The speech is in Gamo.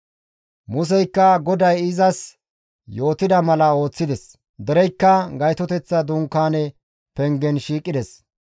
Museykka GODAY izas yootida mala ooththides; dereykka Gaytoteththa Dunkaane pengen shiiqides.